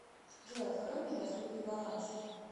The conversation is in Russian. джой открой мне доступный баланс